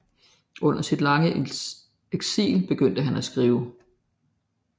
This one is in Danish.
Under sit lange eksil begyndte han at skrive